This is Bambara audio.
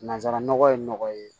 Nanzara nɔgɔ ye nɔgɔ ye